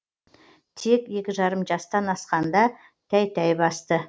тек екі жарым жастан асқанда тәй тәй басты